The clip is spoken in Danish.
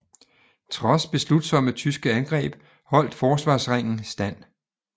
Trods beslutsomme tyske angreb holdt forsvarsringen stand